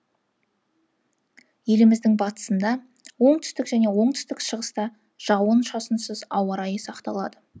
еліміздің батысында оңтүстік және оңтүстік шығыста жауын шашынсыз ауа райы сақталады